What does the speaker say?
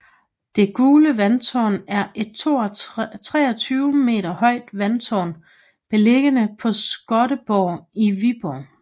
Det gule vandtårn er et 23 meter højt vandtårn beliggende på Skottenborg i Viborg